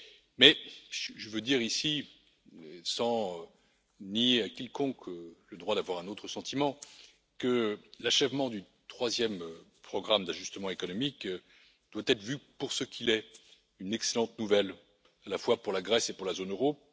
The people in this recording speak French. Mais je veux dire, ici, sans nier à quiconque le droit d'avoir un autre sentiment, que l'achèvement du troisième programme d'ajustement économique doit être vu pour ce qu'il est, à savoir une excellente nouvelle, à la fois pour la Grèce et pour la zone euro.